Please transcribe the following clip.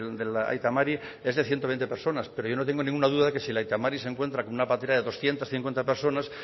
del aita mari es de ciento veinte personas pero yo no tengo ninguna duda de que si el aita mari se encuentra con una patera de doscientos cincuenta personas